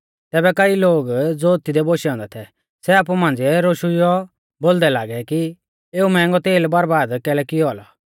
तैबै कईऐ लोग ज़ो तिऐ बोशै औन्दै थै सै आपु मांझ़िऐ रोशुइयौ बोलदै लागै कि एऊ मैहंगौ तेल बर्बाद कैलै कियौ औलौ